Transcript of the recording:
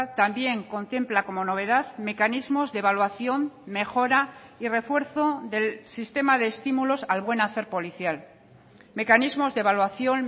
también contempla como novedad mecanismos de evaluación mejora y refuerzo del sistema de estímulos al buen hacer policial mecanismos de evaluación